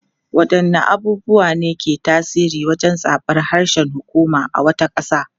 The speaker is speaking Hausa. Wadanne abubuwa ne ke tasiri wajen zabar harshen hukuma a wata kasa?